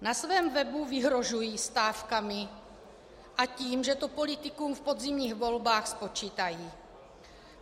Na svém webu vyhrožují stávkami a tím, že to politikům v podzimních volbách spočítají.